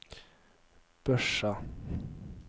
Børsa